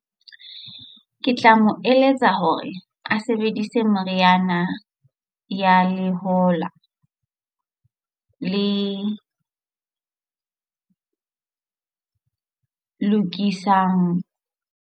Ke tla mo eletsa hore a sebedise meriana ya lehola le lokisang.